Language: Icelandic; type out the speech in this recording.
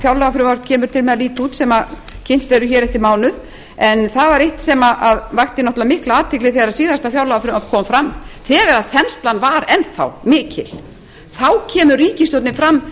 fjárlagafrumvarp kemur til með að líta út sem kynnt verður eftir mánuð en það er eitt sem vakti auðvitað mikla athygli þegar síðasta fjárlagafrumvarp kom fram þegar þenslan var enn þá mikil þá kemur ríkisstjórnin fram